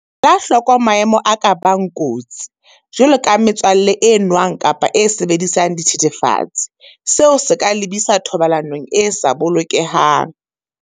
Ela hloko maemo a ka bang kotsi, jwaloka metswalle e nwang kapa e sebedisang dithethefatsi, seo se ka lebisa thobalanong e sa bolokehang.